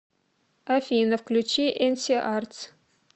афина включи энси артс